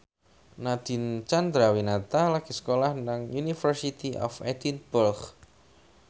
Nadine Chandrawinata lagi sekolah nang University of Edinburgh